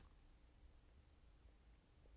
DR P2